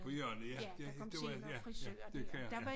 På hjørnet ja det det var ja det kan jeg ja